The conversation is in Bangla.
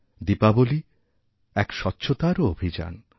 দীপাবলী এক স্বচ্ছতারওঅভিযান